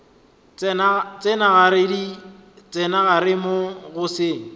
tsena gare moo go se